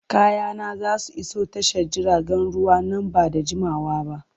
Kayana za su iso tashar jiragen ruwa nan ba da jimawa ba.